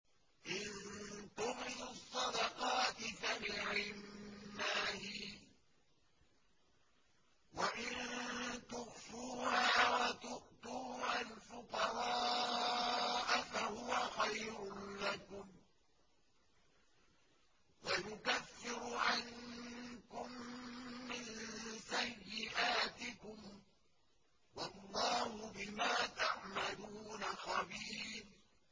إِن تُبْدُوا الصَّدَقَاتِ فَنِعِمَّا هِيَ ۖ وَإِن تُخْفُوهَا وَتُؤْتُوهَا الْفُقَرَاءَ فَهُوَ خَيْرٌ لَّكُمْ ۚ وَيُكَفِّرُ عَنكُم مِّن سَيِّئَاتِكُمْ ۗ وَاللَّهُ بِمَا تَعْمَلُونَ خَبِيرٌ